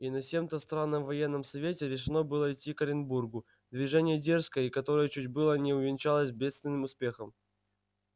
и на сем-то странном военном совете решено было идти к оренбургу движение дерзкое и которое чуть было не увенчалось бедственным успехом